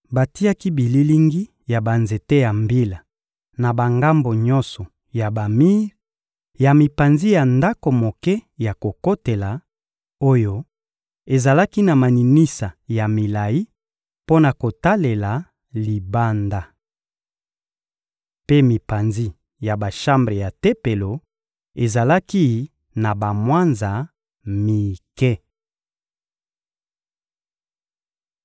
Batiaki bililingi ya banzete ya mbila na bangambo nyonso ya bamir ya mipanzi ya ndako moke ya kokotela, oyo ezalaki na maninisa ya milayi mpo na kotalela libanda. Mpe mipanzi ya bashambre ya Tempelo ezalaki na bamwanza mike.